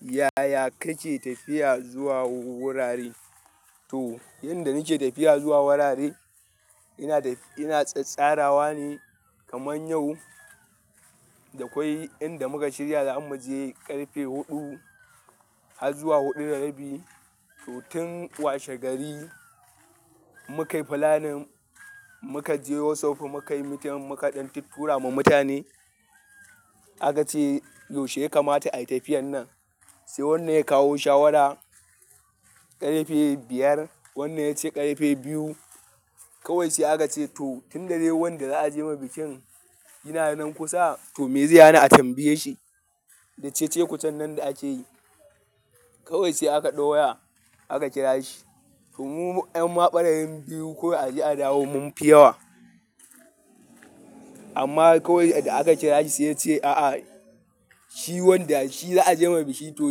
Yaya kake tafiya zuwa wurare? To, yanda nake tafiya zuwa wurare, ina tsara wa ne kaman yau, da akwai inda muka shirya za mu je ƙarfe huɗu har zuwa huɗu da rabi. To tun washe gari muka yi planning, muka je WhatsApp muka yi min muka ɗan tuttura ma mutane. Aka ce yaushe ya kamata ayi tafiyar nan? Sai wannan ya kawo shawara ƙarfe biyar, wannan ya ce ƙarfe biyu. Kawai sai aka ce to tun da dai wanda za a je masa bikin yana nan kusa to me zai hana a tambaye shi? Da cece-kucen nan da ake yi. Kawai sai aka ɗau waya aka kira shi. To mu 'yan ma ɓarayin biyu kawai a je a dawo mun fi yawa. Amma kawai da aka kira shi sai ya ce a'a, shi wanda shi za a je masa biki to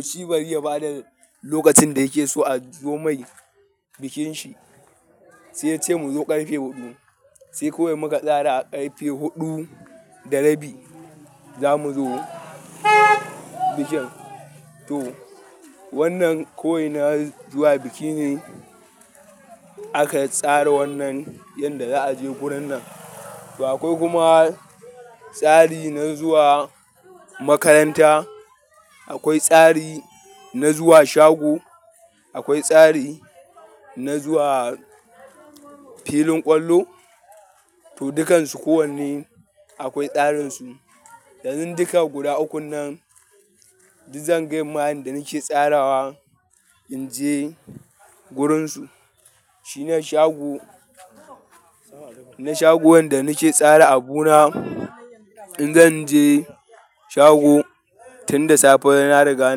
shi bari ya ba da lokacin da yake so a zo mai bikinsa. Sai ya ce mu zo ƙarfe huɗu. Sai kawai muka tsara a ƙarfe huɗu da rabi za mu zo bikin. To wannan kawai na zuwa biki ne aka tsara wannan yanda za a je gurin nan. To akwai kuma tsari na zuwa makaranta, akwai tsari na zuwa shago, akwai tsari na zuwa filin ƙwallo. To dukansu kowanne akwai tsarinsu. Yanzu duka guda ukun nan duk zan gaya ma yanda ma nake tsarawa naje wurinsu. Shi na shago, na shago wanda nake tsara abu na. In zanje shago tun da safe na riga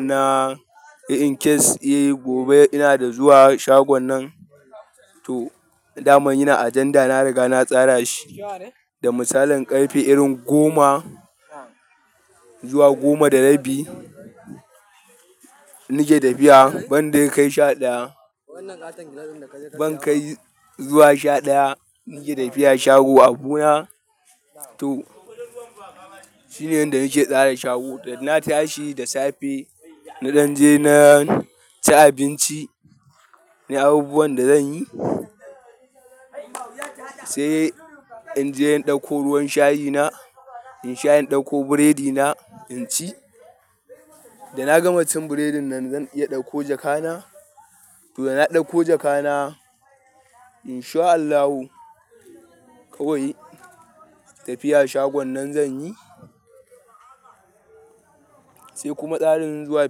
na yi in case, eh gobe ina da zuwa shagon nan to dama ina agenda na riga na tsara shi. Da misalin ƙarfe irin goma zuwa goma da rabi nake tafiya ban dai kai sha ɗaya, ban kai zuwa sha ɗaya nake tafiya shago abu na to shine yanda nake tsara shago. Da na tashi da safe na ɗan je na ci abinci na abubuwan da zan yi. Sai in je in ɗauko ruwan shayi na, in sha in ɗauko burodi na in ci. Da na gama cin burodin nan zan iya ɗauko jaka na. To da na ɗauko jaka na in sha allahu kawai tafiya shagon nan zan yi. Sai kuma tsarin zuwa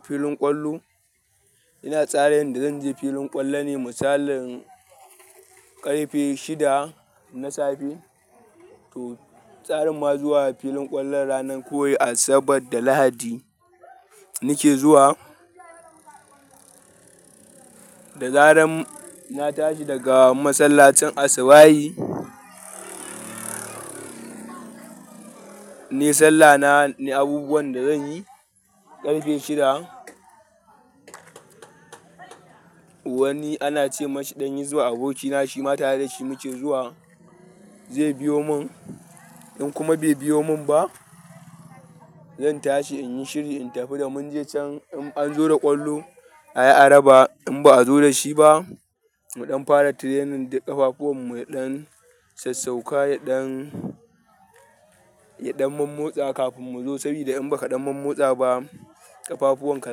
filin ƙwallo, ina tsara yanda zan je filin ƙwallo ne misalin ƙarfe shida na safe. To tsarin ma zuwa filin ƙwallon ranan kawai Asabar da Lahadi nake zuwa. Da zaran na tashi daga masallacin asubahi, nai sallah na na yi abubuwan da zan yi ƙarfe shida. Wani ana ce masa ɗan hisba abokina shi ma tare da shi muke zuwa, zai biyo mun. In kuma bai biyo mun ba, zan tashi in yi shiri in tafi da mun je can in an zo da ƙwallo ayi ara ba. In ba a zo da shi ba, mu ɗan fara training da ƙafafuwan ya ɗan sassauka da ɗan, ya ɗan mammotsa kafin mu zo saboda in ba ka ɗan mammotsa ba ƙafafuwan ka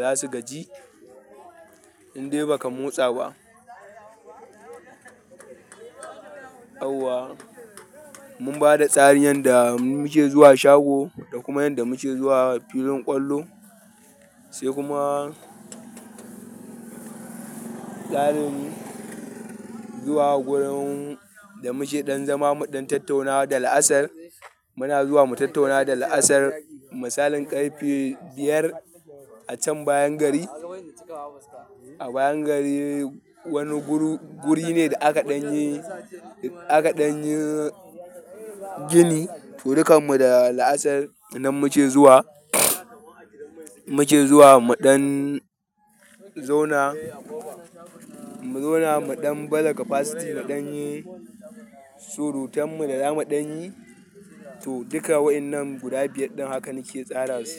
za su gaji in dai ba ka motsa ba. Yauwa mun bada tsari yanda muke zuwa shago da kuma yanda muke zuwa filin ƙwallo. Sai kuma tsarin zuwa gurin da muke ɗan zama mu ɗan tattauna da la'asar muna zuwa mu tattauna da la'asar misalin ƙarfe biyar a can bayan gari. A bayan gari wani guri ne da aka ɗan yi, aka ɗan yi gini to dukan mu da la'asar nan muke zuwa. Muke zuwa mu ɗan zauna, mu zauna mu ɗan baza capacity mu ɗan yi surutan mu da zamu ɗan yi. To duka wa'innan guda biyar ɗin hakan nake tsara su.